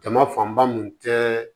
Jama fanba mun tɛ